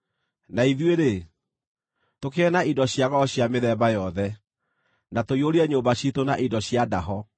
Na ithuĩ-rĩ, tũkĩgĩe na indo cia goro cia mĩthemba yothe, na tũiyũrie nyũmba ciitũ na indo cia ndaho;